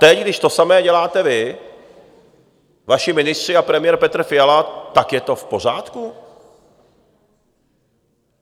Teď, když to samé děláte vy, vaši ministři a premiér Petr Fiala, tak je to v pořádku?